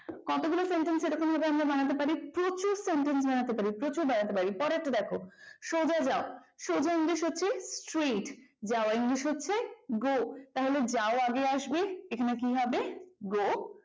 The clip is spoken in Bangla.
কতগুলো sentence এভাবে আমরা বানাতে পারি প্রচুর sentence বানাতে পারি পরেরটা দেখো। সোজা যাও সোজা english হচ্ছে straight যাওয়া english হচ্ছে go, তাহলে যাও আগে আসবে এখানে কি হবে go